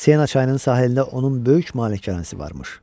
Sena çayının sahilində onun böyük malikanəsi varmış.